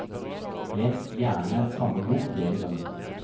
Les gjerne samme bok flere ganger.